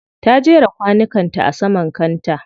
Ta jera kwanukan ta a saman kanta.